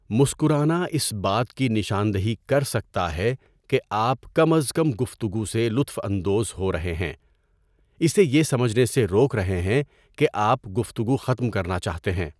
مسکرانا اس بات کی نشاندہی کر سکتا ہے کہ آپ کم از کم گفتگو سے لطف اندوز ہو رہے ہیں، اسے یہ سمجھنے سے روک رہے ہیں کہ آپ گفتگو ختم کرنا چاہتے ہیں۔